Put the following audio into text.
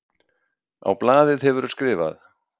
Á blaðið hefurðu skrifað.